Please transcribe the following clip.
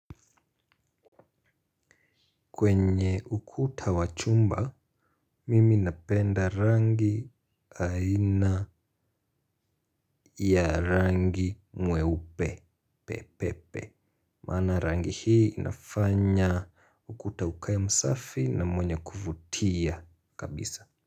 Kwenye ukuta wa chumba, mimi napenda rangi aina ya rangi mweupe, pepepe. Maana rangi hii inafanya ukuta ukae msafi na mwenye kuvutia kabisa.